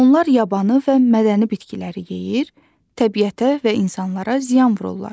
Onlar yabanı və mədəni bitkiləri yeyir, təbiətə və insanlara ziyan vururlar.